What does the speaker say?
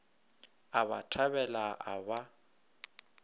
a ba thabela a ba